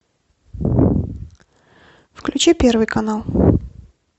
включи первый канал